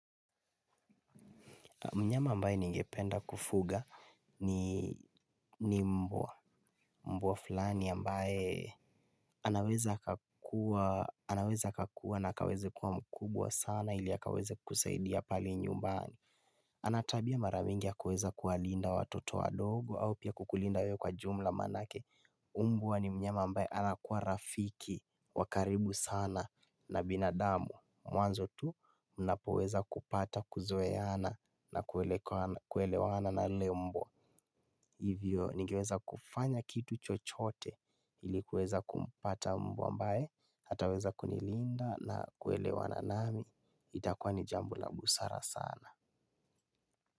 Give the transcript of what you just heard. Mnyama ambae ningependa kufuga ni mbwa, mbwa fulani ambae anaweza anaweza akakua na akeweze kua mkubwa sana, ili akaweze kusaidia pale nyumbani. Anatabia mara mingi ya kuweza kuwalinda watoto wadogo au pia kukulinda wewe kwa jumla maanake. Mbwa ni mnyama ambaye anakua rafiki, wa karibu sana na binadamu. Mwanzo tu mnapoweza kupata kuzoeana na kuelewana na lile mbwa. Hivyo, ningeweza kufanya kitu chochote. Ili kuweza kumpata mbwa ambaye, ataweza kunilinda na kuelewana nami, itakwa ni jambo la busara sana.